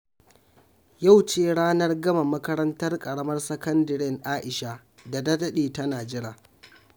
Yau ce ranar gama makarantar karamar sakandaren Aisha da ta ɗaɗe tana jira